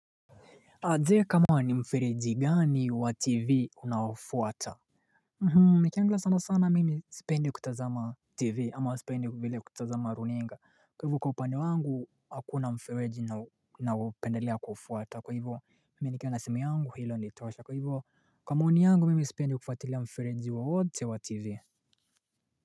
Je kama ni mfereji gani wa TV unaofuata Nikiangalia sana sana mimi sipendi kutazama TV ama sipendi vile kutazama runinga kwa hivo kwa upande wangu hakuna mfereji ninaoupendelea kuufuata kwa hivo Mimi nikiwa na simu yangu hilo hunitosha kwa hivo kwa maoni yangu mimi sipendi kufatilia mfereji wowote wa TV.